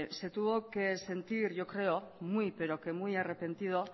se tuvo que sentir yo creo muy pero que muy arrepentido